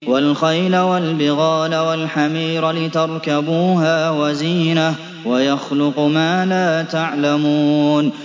وَالْخَيْلَ وَالْبِغَالَ وَالْحَمِيرَ لِتَرْكَبُوهَا وَزِينَةً ۚ وَيَخْلُقُ مَا لَا تَعْلَمُونَ